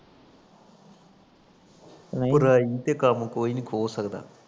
ਪੜਾਈ ਤੇ ਕੰਮ ਕੋਈ ਨੀ ਖੋ ਸਕਦਾ